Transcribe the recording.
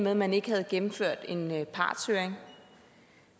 at man ikke havde gennemført en partshøring